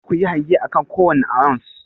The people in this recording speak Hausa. Kada ku yi hange akan kowane ounce.